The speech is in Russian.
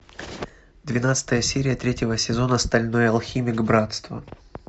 двенадцатая серия третьего сезона стальной алхимик братство